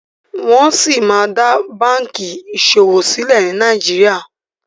Wón sí má dá bánkì ìṣòwò silẹ ní Nàìjíríà.